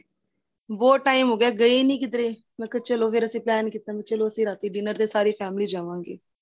ਬਹੁਤ time ਹੋ ਗਿਆ ਗਏ ਨਹੀਂ ਕਿੱਧਰੇ ਮੈਂ ਕਿਹਾ ਚਲੋ ਫ਼ੇਰ ਅਸੀਂ plan ਕੀਤਾ ਚਲੋਂ ਰਾਤੀਂ dinner ਤੇ ਸਾਰੀ family ਜਾਵਾਗੇ